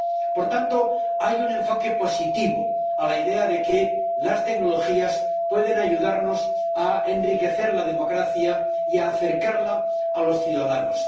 Por tanto, hay un enfoque positivo de la idea de que las tecnologías pueden ayudarnos a enriquecer la democracia y a acercarla a los ciudadanos.